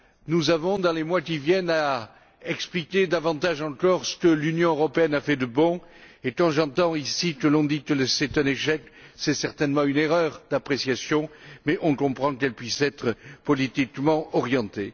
Nous avons, dans les mois qui viennent, à expliquer davantage encore ce que l'Union européenne a fait de bon et, quand j'entends ici que l'on dit que c'est un échec, c'est certainement une erreur d'appréciation, mais on comprend qu'elle puisse être politiquement orientée.